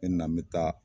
N bɛ na n bɛ taa